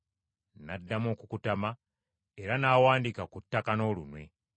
N’addamu okukutama, era n’awandiika ku ttaka n’olunwe.